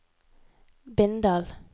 Bindal